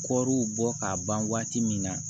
Kɔriw bɔ k'a ban waati min na